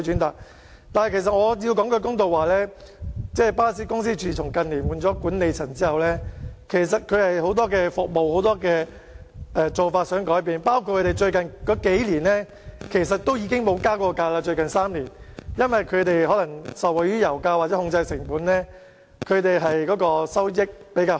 我得說句公道話，自巴士公司於近年轉換管理層後，他們也想改變很多服務和做法，而巴士公司在最近3年也沒有增加車費，可能是因為他們受惠於油價下跌，或因為可以有效控制成本，收益比較好。